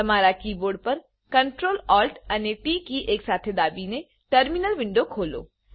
તમારા કીબોર્ડ પર Ctrl Alt અને ટી કી એકસાથે દાબીને ટર્મીનલ વિન્ડો ખોલો